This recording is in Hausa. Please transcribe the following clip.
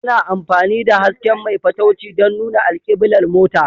Ana amfani da hasken mai fatauci don nuna alkiblar mota